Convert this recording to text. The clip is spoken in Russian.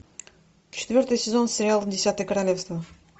четвертый сезон сериал десятое королевство